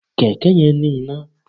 Kẹ̀kẹ́ yẹn ní iná.